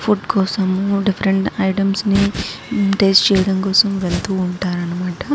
Food కోసం different items ని taste చేయటం కోసం వెళ్తూ ఉంటారు అన్నమాట.